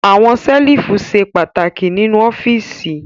Àwọn ṣẹ́lífù ṣe pàtàkì nínú ọ́fíísì.